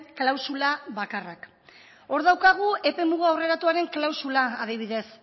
klausula bakarrak hor daukagu epemuga aurreratuaren klausula adibidez